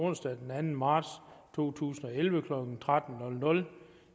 onsdag den anden marts to tusind og elleve klokken tretten